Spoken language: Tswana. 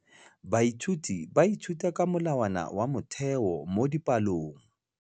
Baithuti ba ithuta ka molawana wa motheo mo dipalong.